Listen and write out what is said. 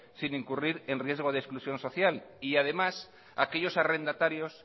sin incurrir en riesgo de exclusión social y además aquellos arrendatarios